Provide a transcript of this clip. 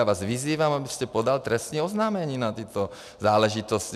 Já vás vyzývám, abyste podal trestní oznámení na tyto záležitosti.